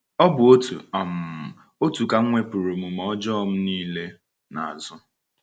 Ọ bụ otu um otu ka m wepụrụ omume ọjọọ m niile n’azụ.